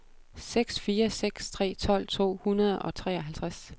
seks fire seks tre tolv to hundrede og treoghalvtreds